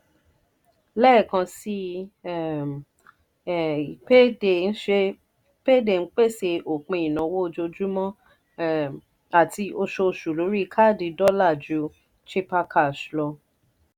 lẹ́ẹ̀kan sí um i payday ń pèsè òpin ìnáwó ojoojúmọ́ um àti oṣooṣù lórí káàdì dọ́là ju chipper cash lọ.